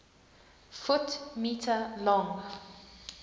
ft m long